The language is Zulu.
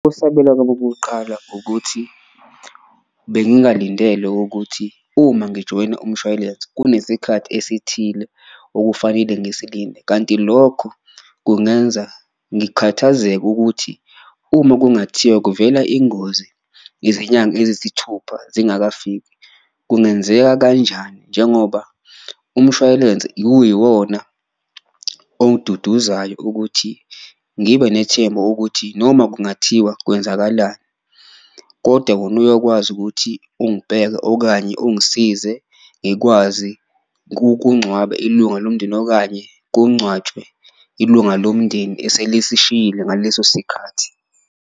Kokuqala ukuthi bengingalindele ukuthi uma ngijoyina umshwayilense kunesikhathi esithile okufanele ngisilinde, kanti lokho kungenza ngikhathazeke ukuthi uma kungathiwa kuvela ingozi izinyanga eziyisithupha zingakafiki kungenzeka kanjani. Njengoba umshwayilense uyiwona ongiduduzayo ukuthi ngibe nethemba ukuthi noma kungathiwa kwenzakalani, koda wona uyokwazi ukuthi ungibheke okanye ungisize ngikwazi kungcwaba ilunga lomndeni. Okanye kungcwatshwe ilunga lomndeni eselisishiyile ngaleso sikhathi.